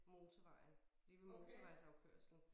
Motorvejen lige ved motorvejsafkørslen